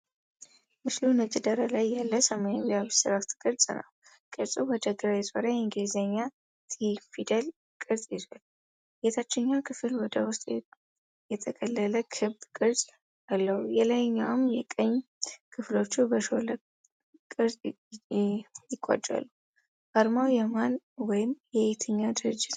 ምስሉ ነጭ ዳራ ላይ ያለ ሰማያዊ አብስትራክት ቅርፅ ነው። ቅርጹ ወደ ግራ የዞረ የእንግሊዝኛ'ቲ'ፊደል ቅርፅ ይዟል። የታችኛው ክፍል ወደ ውስጥ የጠቀለለ ክብ ቅርጽ አለው። የላይኛውና የቀኝ ክፍሎቹ በሾለ ቅርጽ ይቋጫሉ። አርማው የማን ወይም የየትኛው ድርጅት መለያ ነው?